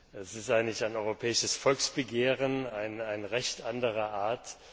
Sie ist eigentlich ein europäisches Volksbegehren, ein Recht anderer Art.